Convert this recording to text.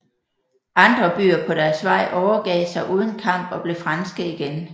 Andre byer på deres vej overgav sig uden kamp og blev franske igen